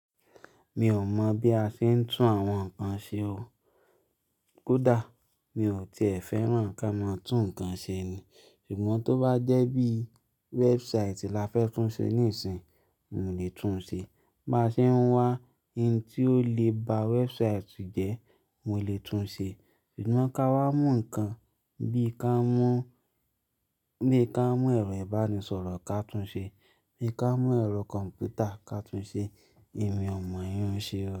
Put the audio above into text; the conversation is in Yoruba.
Mi ò mọ̀ bí a ṣe ń tún àwọn nǹkan ṣe o. Kódà mi ò tíe fẹ́ràn kán máa tún nǹkan ṣe ni. Ṣùgbọ́n tó bá jẹ́ bí website la fẹ́ tún ṣe níìsín, mo lè tún ṣe. Bá ṣe ń wá ohun tí ó lè ba website jẹ́, mo lè tún ṣe. Ṣùgbọ́n ká wá mú nǹkan bí i ká mú, bí i ká mú ẹ̀rọ ìbánisọ̀rọ̀ ká tún ṣe, bí i ká mú ẹ̀rọ kọ̀m̀pútà ká tún ṣe, èmi ò mọ ìyun-un ṣẹ́ o.